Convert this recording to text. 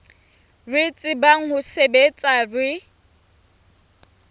re tsebang ho sebetsa re